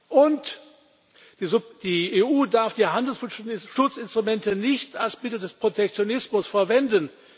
Und die EU darf die Handelsschutzinstrumente nicht als Mittel des Protektionismus verwenden.